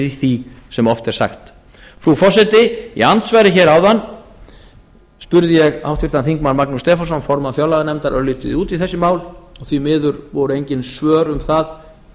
því sem oft er sagt frú forseti í andsvari hér áðan spurði ég háttvirtir þingmenn magnús stefánsson formann fjárlaganefndar örlítið út í þessi mál og því miður voru engin svör um það